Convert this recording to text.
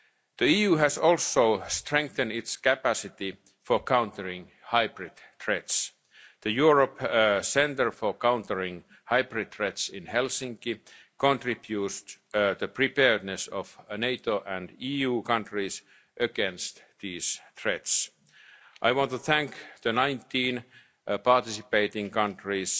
results. The EU has also strengthened its capacity for countering hybrid threats. The European Centre for Countering Hybrid Threats, in Helsinki, contributes to the preparedness of NATO and EU countries against these threats. I want to thank the 19 participating